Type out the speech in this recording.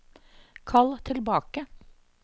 kall tilbake